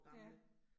Ja